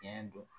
Tiɲɛ don